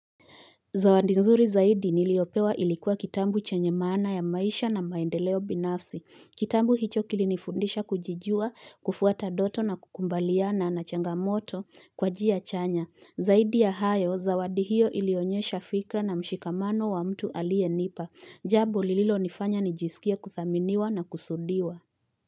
Zawadi nzuri zaidi niliopewa ilikuwa kitabu chanye maana ya maisha na maendeleo binafsi. Kitabu hicho kilinifundisha kujijua, kufuata ndoto na kukubaliana na changamoto kwa njia chanya. Zaidi ya hayo, zawadi hiyo ilionyesha fikra na mshikamano wa mtu alie nipa. Jambo lililo nifanya nijisikie kuthaminiwa na kusudiwa.